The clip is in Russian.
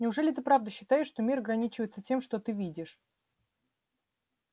неужели ты правда считаешь что мир ограничивается тем что ты видишь